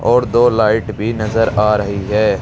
और दो लाइट भी नजर आ रही है।